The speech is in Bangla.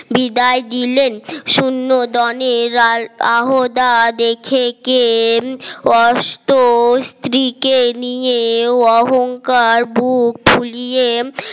বিদায় দিলেন শূন্য দলের আহ্বদা দেখে কেন কষ্ট স্ত্রীকে নিয়ে অহংকার বুক ফুলিয়ে